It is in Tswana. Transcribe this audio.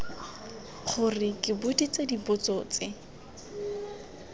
gore ke boditswe dipotso tse